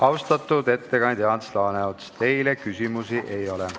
Austatud ettekandja Ants Laaneots, teile küsimusi ei ole.